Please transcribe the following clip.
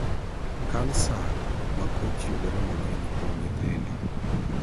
Kansa makoch yudore mang'eny kuom nyithindo.